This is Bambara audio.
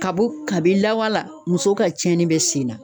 Ka bɔ kabini lawale la ,muso ka tiɲɛni bɛ sen na.